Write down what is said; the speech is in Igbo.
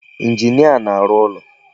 Injinia na-arụ ụlọ.